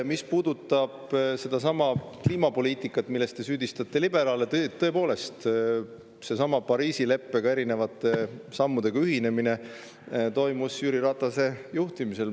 Mis puudutab sedasama kliimapoliitikat, milles te süüdistate liberaale, siis tõepoolest, selle Pariisi leppega ja erinevate sammudega ühinemine toimus Jüri Ratase juhtimisel.